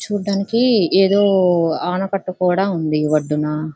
చూడ్డానికి ఎదో ఆనకట్ట కూడా వుంది. ఈ ఒడ్డున్న--